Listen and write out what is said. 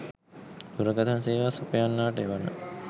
දුරකථන සේවා සපයන්නාට එවන